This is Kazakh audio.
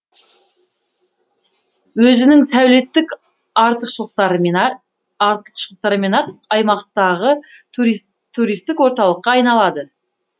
өзінің сәулеттік артықшылықтарымен ақ аймақтағы туристік орталыққа айналады